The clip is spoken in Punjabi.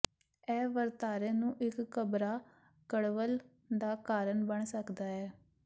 ਇਹ ਵਰਤਾਰੇ ਨੂੰ ਇੱਕ ਘਬਰਾ ਕਡ਼ਵੱਲ ਦਾ ਕਾਰਨ ਬਣ ਸਕਦਾ ਹੈ